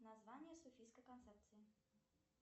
название софийской концепции